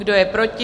Kdo je proti?